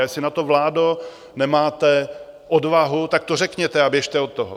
A jestli na to vládo nemáte odvahu, tak to řekněte a běžte od toho!